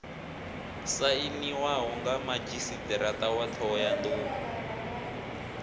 sainiwaho mga madzhisiṱiraṱa wa ṱhohoyanḓou